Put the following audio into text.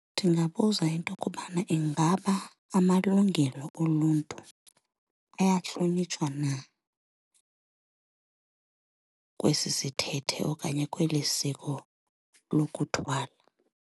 Ndingabuza into kubana ingaba amalungelo oluntu ayahlonitshwa na kwesi sithethe okanye kweli siko lokuthwala.